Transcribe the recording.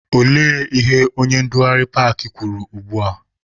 Olee ihe onye ndugharị paakị kwuru ugbua?